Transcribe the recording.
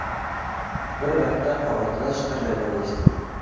Bir vaqt qog‘ozlar shitirlagani eshitildi.